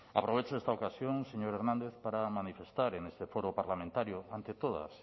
aprovecho esta ocasión señor hernández para manifestar en este foro parlamentario ante todas